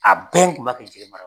A bɛn kun b'a kɛ jiri mara